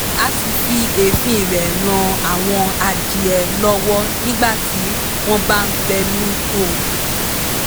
a sì fi èéfín rẹ̀ ràn àwọn adìẹ lọ́wọ́ nígbà tí wọ́n bá ń fẹnukò